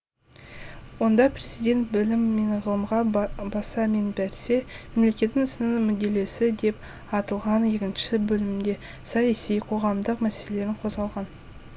онда президент білім мен ғылымға баса мән берсе мемлекет ісінің мүдделесі деп аталған екінші бөлімде саяси қоғамдық мәселелері қозғалған